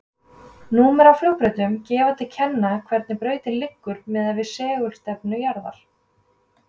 Númer á flugbrautum gefa til kynna hvernig brautin liggur miðað við segulstefnu jarðar.